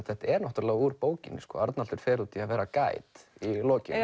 þetta er úr bókinni Arnaldur fer út í að vera Guide í lokin